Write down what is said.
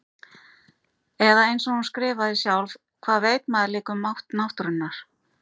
Eða einsog hún skrifaði sjálf: Hvað veit maður líka um mátt náttúrunnar.